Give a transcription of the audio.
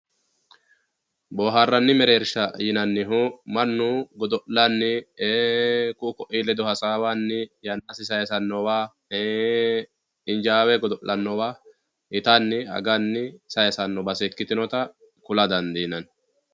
Booharani mereersha yinanihu mannu godolani ku`u ku`uu ledo hasaawani yanasi sayisanowa injaawe godolanowa itani agani sayisano baset ikitinota kula dandinani.